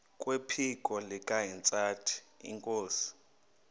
kwephiko likahintsathi inkosi